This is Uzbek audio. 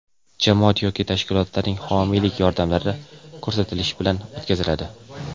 jamoat yoki tashkilotlarning homiylik yordamlari ko‘rsatilishi bilan o‘tkaziladi.